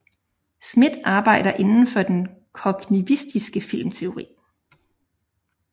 Smith arbejder inden for den kognitivistiske filmteori